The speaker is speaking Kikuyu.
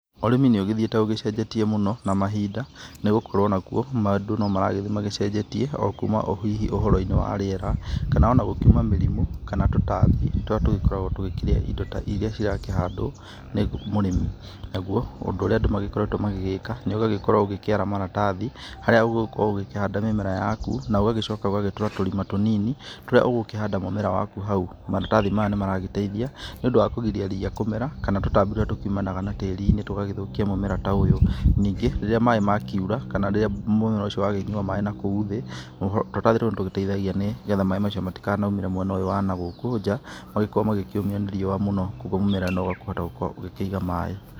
Ũrĩmi nĩ ũgĩthiĩte ũgĩcenjetie mũno na mahinda nĩ gũkorwo nakuo, andũ no maragĩthiĩ magĩcenjetie o kuma o hihi ũhoro-inĩ wa rĩera kana o na gũkiuma mĩrimũ kana tũtambi tũrĩa tũgĩkoragwo tũgĩkĩrĩa indo ta iria cirakĩhandwo nĩ mũrĩmi, naguo ũndũ ũrĩa andũ magĩkoretwo magĩgĩka, nĩ ũgagĩkorwo ũgĩkĩara maratathi harĩa ũgũgĩkorwo ũgĩkĩhanda mĩmera yaku na ũgagĩcoka ũgagĩtũra tũrima tũnini, tũrĩa ũgũkĩhanda mũmera waku hau. Maratathi maya nĩ maragĩteithia nĩ ũndũ wa kũgiria ria kũmera kana tũtambi tũrĩa tũkiumanaga na tĩri-inĩ tũgagĩthũkia mũmera ta ũyũ. Ningĩ rĩrĩa maĩ makiura kana rĩrĩa mũmera ũcio wakĩnyua maĩ na kou thĩ, tũratathi tou nĩ tũgĩteithagia nĩgetha maĩ macio matikanakiumĩre mwena ũyũ wa na gũkũ nja, magĩkorwo makĩũmio nĩ riũa mũno kũguo mũmera nĩ ũkũhota gũkorwo ũgĩkĩiga maĩ.